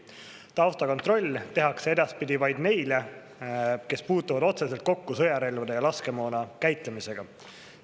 Taustakontroll tehakse edaspidi vaid neile, kes puutuvad otseselt kokku sõjarelvade ja laskemoona käitlemisega.